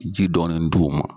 Ji dɔɔni d'u ma.